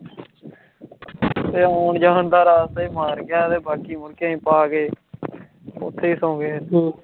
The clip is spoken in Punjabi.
ਤੇ ਹੋਣ ਜਹਾਨ ਦਾ ਰਾਸਤਾ ਈ ਮਾਰ ਗਯਾ ਐ ਤੇ ਬਾਕੀ ਹੁਣ ਕਈ ਪਾ ਗਏ, ਓਥੇ ਈ ਸੋਂ ਗਏ